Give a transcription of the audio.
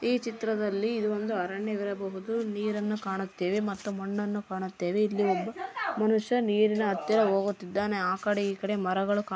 ಚಿತ್ರದಲ್ಲಿ ಇದು ಒಂದು ಅರಣ್ಯವಾಗಿರಬಹುದು ನೀರನ್ನು ಕಾಣುತ್ತೇವೆ ಮತ್ತು ಮಣ್ಣನ್ನು ಕಾಣುತ್ತೇವೆ ಇಲ್ಲಿ ಒಬ್ಬ ಮನುಷ್ಯ ನೀರಿನ ಅತ್ತಿರ ಓಗುತ್ತಿದ್ದಾನೆ ಆ ಕಡೆ ಈ ಕಡೆ ಮರಗಳು ಕಾಣಿ--